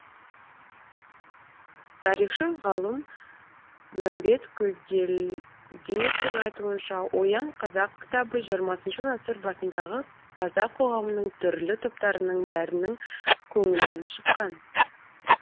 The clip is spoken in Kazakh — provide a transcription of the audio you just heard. тарихшы ғалым мәмбет көйгелдиевтің айтуынша оян қазақ кітабы жиырмасыншы ғасыр басындағы қазақ қоғамының түрлі топтарының бәрінің көңілінен шыққан